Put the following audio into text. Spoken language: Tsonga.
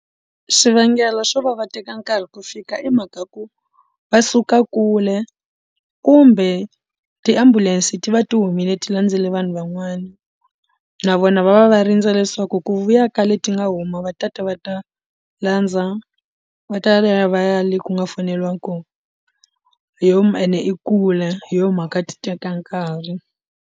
Xivangelo xo va va teka nkarhi ku fika i mhaka ya ku va suka kule kumbe tiambulense ti va ti humile ti landzile vanhu van'wana na vona va va va rindze leswaku ku vuya ka leti nga huma va ta ta va ta landza va ta ya va ya va ya le ku nga foneliwa kona hi yo ene i kule hi yo mhaka ti teka nkarhi.